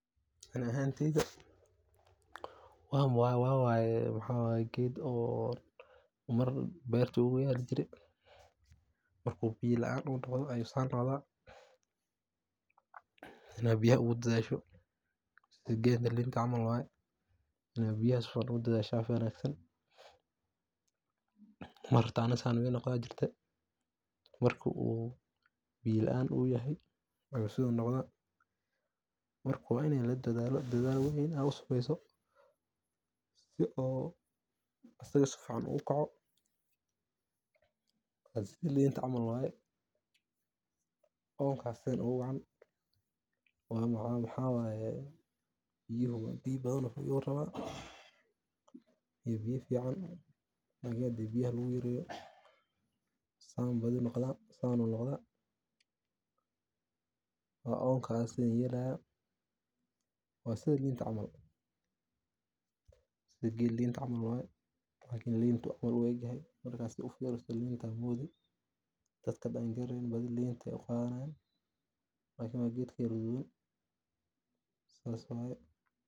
Ani ahaanteyda, waxaan waxa waa geed oo beerta noogu yaali jire. Markuu biyo la'aan noqdo ayuu sidan noqdaa, in uu biyaha si fiican u gudbiyo, sida geedka linta cml (camal) wuu yahay, in uu biyaha si fiican ugu daadsho waa wanaagsan. Mar aniga xitaa sidan ayuu iga noqdi jire. Marka uu biyo la’aan yahay ayuu sidan noqdaa. Marka waa in la dadaalaa oo dadaal weyn loo sameeyo si uu isaga si fiican u kaco, sida linta camal wuu yahay. Oonka ayaan ugu wacan maxaa yeelay biyo badan iyo biyo fiican ayuu rabaa, laakin hadii biyaha lagu yareeyo sidan ayuu badanaa noqdaa. Waa oonka waxa sidan yeelayo. Waa sida linta camal, waa sida geedka linta camal wuu yahay, laakin linta camal u eg yahay. Marka fiiriso linta, dadka aan garaneyn badanaa linta ayay u qaadanayaan. Laakin waa geed ka yara weyn. Sidaas weeye.